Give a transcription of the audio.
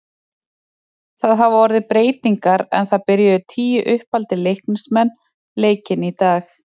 Það hafa orðið breytingar en það byrjuðu tíu uppaldir Leiknismenn leikinn í dag.